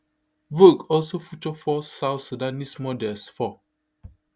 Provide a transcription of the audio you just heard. vogue also feature four south sudanese models for